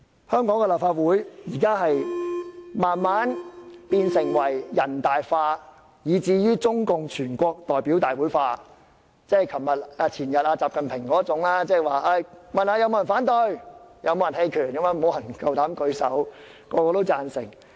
香港的立法會逐漸變得"人大化"，以至"中國共產黨全國代表大會化"，即有如習近平前天的做法般，詢問是否有人反對或棄權也沒有人敢舉手，人人也贊成。